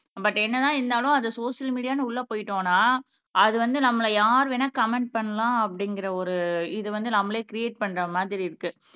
but என்னதான் இருந்தாலும் அது சோசியல் மீடியான்னு உள்ள போயிட்டோம்ன்னா அது வந்து நம்மளை யார் வேணா கம்மெண்ட் பண்ணலாம் அப்படிங்கிற ஒரு இதை வந்து நம்மளே க்ரியேட் பண்ற மாதிரி இருக்கு